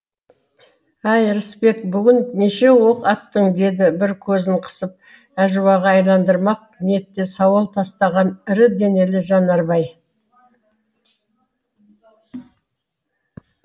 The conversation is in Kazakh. әй рысбек бүгін неше оқ аттың деді бір көзін қысып әжуаға айналдырмақ ниетте сауал тастаған ірі денелі жанарбай